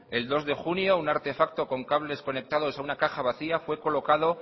el dos de junio un artefacto con cables conectados a una caja vacía fue colocado